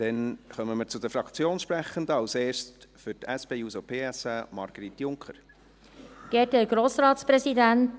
Dann kommen wir zu den Fraktionssprechenden, zuerst für die SP-JUSO-PSA, Margrit Junker Burkhard.